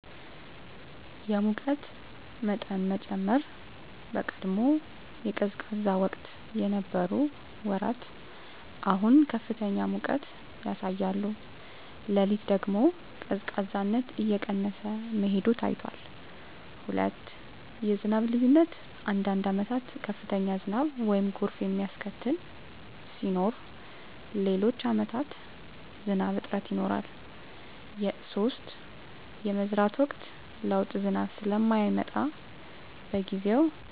የሙቀት መጠን መጨመር በቀድሞ የቀዝቃዛ ወቅት የነበሩ ወራት አሁን ከፍተኛ ሙቀት ያሳያሉ። ሌሊት ደግሞ ቀዝቃዛነት እየቀነሰ መሄዱ ታይቷል። 2. የዝናብ ልዩነት አንዳንድ ዓመታት ከፍተኛ ዝናብ (ጎርፍ የሚያስከትል) ሲኖር፣ ሌሎች ዓመታት ዝናብ እጥረት ይኖራል። 3. የመዝራት ወቅት ለውጥ ዝናብ ስለማይመጣ በጊዜው፣